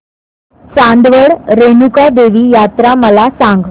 चांदवड रेणुका देवी यात्रा मला सांग